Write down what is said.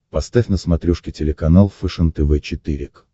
поставь на смотрешке телеканал фэшен тв четыре к